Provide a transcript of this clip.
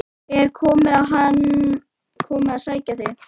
Er hann að koma að sækja þig?